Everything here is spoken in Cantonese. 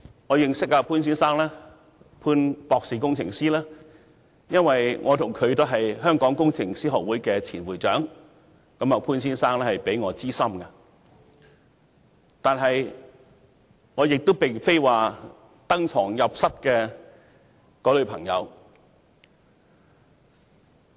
我認識潘先生，或潘博士工程師，是因為我和他都是香港工程師學會的前會長，潘先生比我資深，但我並非他登堂入室的朋友。